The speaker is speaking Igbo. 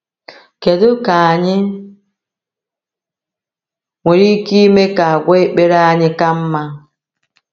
Kedu ka anyị nwere ike ime ka àgwà ekpere anyị ka mma?